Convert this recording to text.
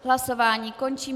Hlasování končím.